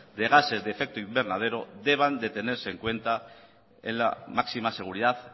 de gases de efecto invernadero deban de tenerse en cuenta en la máxima seguridad